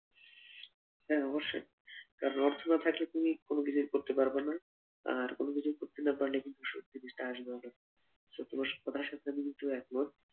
হাঁ অবশ্যই কারন অর্থ না থাকলে তুমি কোনো কিছুই করতে পারবেনা আর কোনো কিছু করতে না পারলে কিন্তু সুখ জিনিসটা আসবেও না কথাটা সূত্রে যদিও আমি একমত।